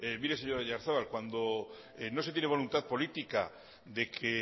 mire señor oyarzabal cuando no se tiene voluntad política de que